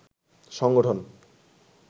সংগঠন